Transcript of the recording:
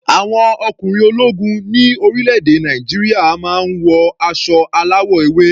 Àwọn ọkùnrin ológun ní orílẹ̀-èdè Nàìjíríà máa ń wọ aṣọ aláwọ̀ ewé.